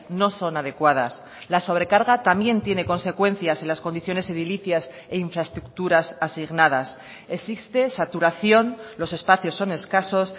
no son adecuadas la sobrecarga también tiene consecuencias en las condiciones edilicias e infraestructuras asignadas existe saturación los espacios son escasos